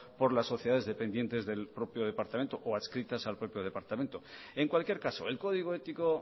por las sociedades dependientes por el propio departamento o adscritas al propio departamento en cualquier caso el código ético